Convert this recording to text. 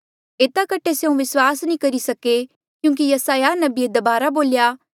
एता कठे स्यों विस्वास नी करी सके क्यूंकि यसायाह नबिये दबारा बोल्या